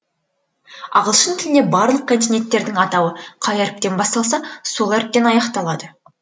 ағылшын тілінде барлық континенттердің атауы қай әріптен басталса сол әріптен аяқталады